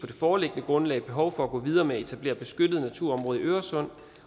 det foreliggende grundlag behov for at gå videre med at etablere beskyttede naturområder i øresund